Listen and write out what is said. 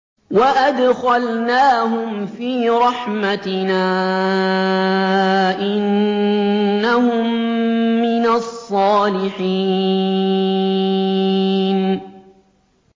وَأَدْخَلْنَاهُمْ فِي رَحْمَتِنَا ۖ إِنَّهُم مِّنَ الصَّالِحِينَ